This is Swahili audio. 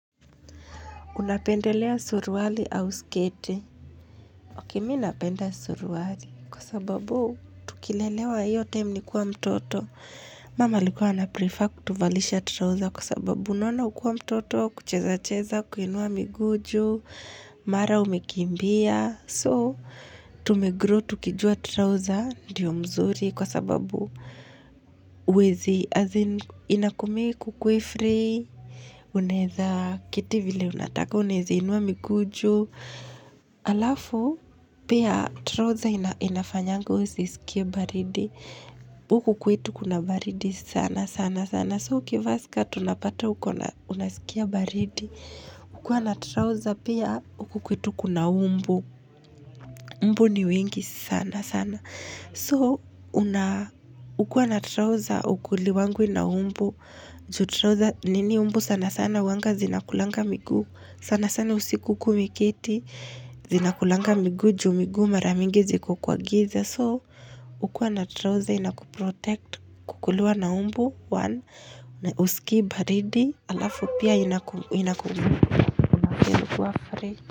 Unapendelea suruali au sketi. Ok me napenda suruali kwa sababu tukilelewa hiyo time nikiwa mtoto. Mama alikuwa ana prefer kutuvalisha trouser kwa sababu unaona ukiwa mtoto, kucheza cheza, kuinua miguu juu, mara umekimbia. So, tumegrow, tukijua trouser, ndiyo mzuri kwa sababu uwezi inakumiake ukuwe free. Unaeza keti vile unataka unaeza inua miguu juu alafu pia trouser inafanyanga usisikie baridi huku kwetu kuna baridi sana sana sana so ukivaa skirt unapata uko na unasikia baridi kuwa na trouser pia uku kwetu kuna mbu mbu ni wengi sana sana so ukua na trouser hukuliwi na mbu nini mbu sana sana huanga zinakulanga miguu sana sana usiku ukiwa umeketi zinakulanga miguu juu miguu mara mingi ziko kwa giza so kukuwa na trouser inakuprotect kukuliwa na mbu one huskii baridi alafu pia inakumukua free.